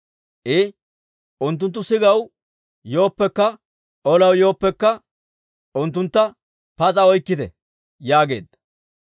I, «Unttunttu sigaw yooppekka olaw yooppekka, unttuntta pas'a oyk'k'ite» yaageedda.